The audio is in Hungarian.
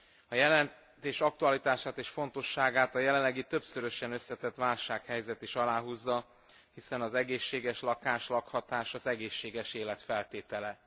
A jelentés aktualitását és fontosságát a jelenlegi többszörösen összetett válsághelyzet is aláhúzza, hiszen az egészséges lakás, lakhatás az egészséges élet feltétele.